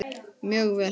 Mjög vel.